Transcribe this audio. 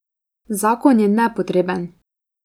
Zakon je nepotreben!